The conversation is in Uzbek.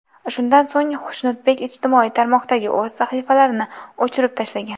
Shundan so‘ng Xushnudbek ijtimoiy tarmoqdagi o‘z sahifalarini o‘chirib tashlagan.